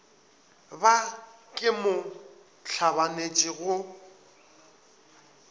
ba ke mo hlabanetše go